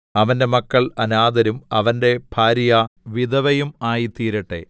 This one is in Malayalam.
അവന്റെ മക്കൾ അനാഥരും അവന്റെ ഭാര്യ വിധവയും ആയിത്തീരട്ടെ